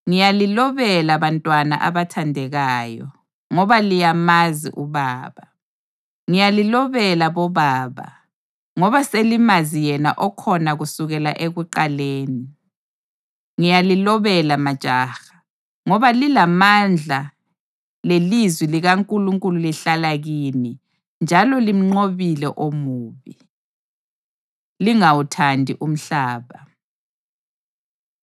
Ngiyalilobela, bantwana abathandekayo, ngoba liyamazi uBaba. Ngiyalilobela bobaba, ngoba selimazi yena okhona kusukela ekuqaleni. Ngiyalilobela majaha, ngoba lilamandla lelizwi likaNkulunkulu lihlala kini, njalo limnqobile omubi. Lingawuthandi Umhlaba